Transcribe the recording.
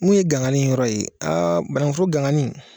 Min ye gangani yɔrɔ ye aa banankuforo gangani